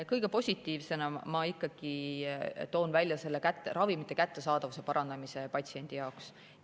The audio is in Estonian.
Kõige positiivsemana ma ikkagi toon välja ravimite kättesaadavuse parandamise patsiendi jaoks.